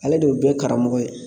Ale de ye bɛɛ karamɔgɔ ye